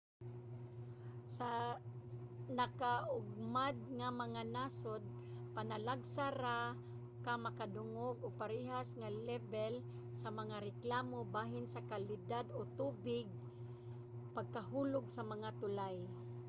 sa nagakaugmad nga mga nasod panalagsa ra ka makadungog og parehas nga lebel sa mga reklamo bahin sa kalidad sa tubig o pagkahulog sa mga tulay